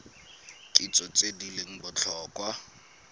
kitso tse di leng botlhokwa